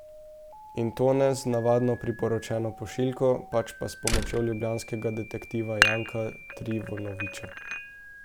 In to ne z navadno priporočeno pošiljko, pač pa s pomočjo ljubljanskega detektiva Janka Trivunovića.